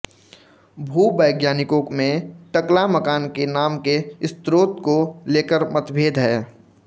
भूवैज्ञानिकों में टकलामकान के नाम के स्रोत को लेकर मतभेद है